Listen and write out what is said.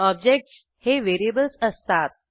objects हे variables असतात